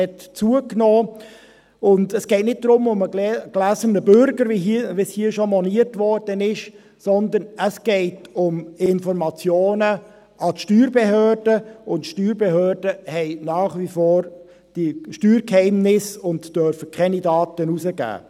Es geht auch nicht um den «gläsernen Bürger», wie hier moniert wurde, sondern es geht um Informationen an die Steuerbehörden, und die Steuerbehörden unterstehen nach wie vor dem Steuergeheimnis und dürfen keine Daten herausgeben.